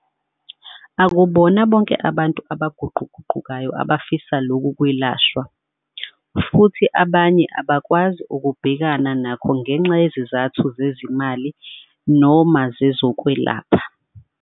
Akubona bonke abantu abaguquguqukayo abafisa lokhu kwelashwa, futhi abanye abakwazi ukubhekana nakho ngenxa yezizathu zezezimali noma zezokwelapha.